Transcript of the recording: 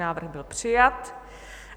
Návrh byl přijat.